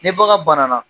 Ni bagan bana na